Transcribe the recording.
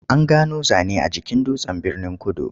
An gano zane a jikin dutsen Birnin-kudu.